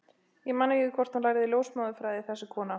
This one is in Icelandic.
Ég man ekki hvort hún lærði ljósmóðurfræði, þessi kona.